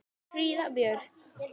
Þín Fríða Björk.